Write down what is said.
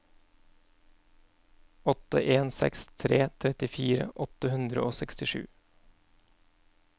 åtte en seks tre trettifire åtte hundre og sekstisju